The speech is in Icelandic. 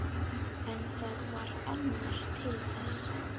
En það varð annar til þess.